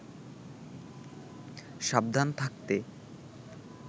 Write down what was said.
সাবধান থাকতে